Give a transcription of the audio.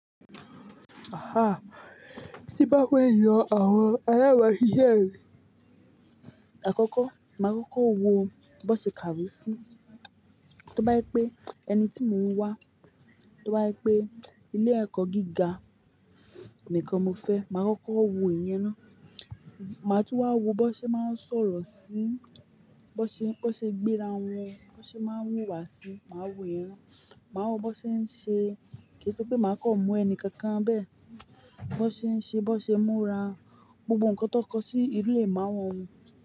Ah-ah! Tí bá wù mí yọ àwọn alaba sise mi. Àkọ́kọ́, mà á kọ́kọ́ wo bó ṣe kàwe sí, tó bá jé pé ẹni tí mò ń wá, tó bá jé pé ilé-ẹ̀kọ́ gíga nìkan mo fẹ́, mà á kọ́kọ́ wo ìyẹn ná. Mà á tún wá wo bó ṣe máa ń sọ̀rọ̀ sí, bó ṣe gbéra wọn, bó ṣe máa ń wúwa sí, mà á wo ìyẹn ná. Mà á wo bó ṣe ń ṣe-- kì í ṣe pé mà á kọ̀ mú ẹni kankan bẹ́ẹ̀. Bó ṣe ń ṣe, bó ṣe múra, gbogbo ǹkankan tó kọ sí inu ìmáwọ̀ wọn.